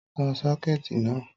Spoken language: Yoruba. Tán sọ́kẹ̀tì na